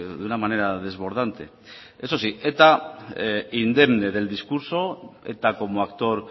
de una manera desbordarte eso sí eta indemne del discurso eta como actor